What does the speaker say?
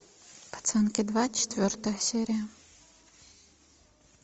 пацанки два четвертая серия